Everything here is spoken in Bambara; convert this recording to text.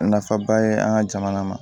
Nafaba ye an ka jamana ma